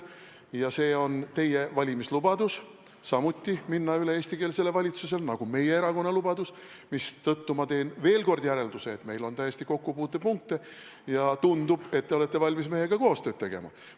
Minna üle eestikeelsele valitsusele on teie valimislubadus samuti, nagu see on meie erakonna lubadus, mistõttu ma teen veel kord järelduse, et meil on tõesti kokkupuutepunkte ja tundub, et te olete valmis meiega koostööd tegema.